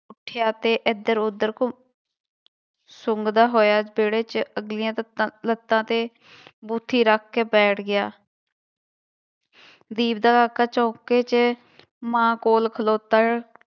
ਉੱਠਿਆ ਤੇ ਇੱਧਰ ਉੱਧਰ ਘੁ ਸੁੰਗਦਾ ਹੋਇਆ ਵਿਹੜੇ ਚ ਅਗਲੀਆਂ ਤੱਤਾਂ ਲੱਤਾਂ ਤੇ ਬੂਥੀ ਰੱਖ ਕੇ ਬੈਠ ਗਿਆ ਵੀਰ ਦਾ ਕਾਕਾ ਚੌਂਕੇ ਚ ਮਾਂ ਕੋਲ ਖਲੋਤਾ